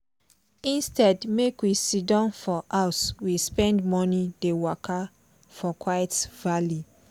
instead make we siddon for house we spend morning dey waka for quiet valley.